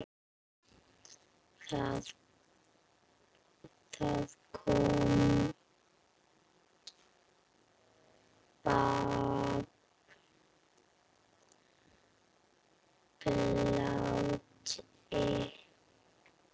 Það kom babb bátinn.